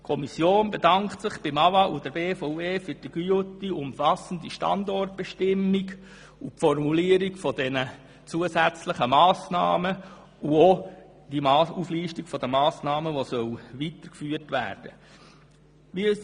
Die Kommission bedankt sich beim AWA und bei der BVE für die gute und umfassende Standortbestimmung, die Formulierung der zusätzlichen Massnahmen und die Auflistung der Massnahmen, die weitergeführt werden sollen.